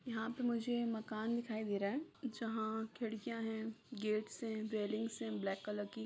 यहाँ पे मुझे मकान दिखाई दे रहा है जहाँ खिड़कियाँ हैं गेट्स हैं रेलिंगस हैं ब्लैक कलर की --